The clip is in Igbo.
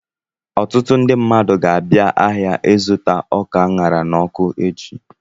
Ọtụtụ ndị mmadụ ga-abịa ahịa ịzụta ọka a ṅara n'ọkụ echi.